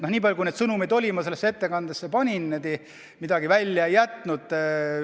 Nii palju kui neid sõnumeid oli, ma panin need kõik sellesse ettekandesse, midagi välja ei jätnud.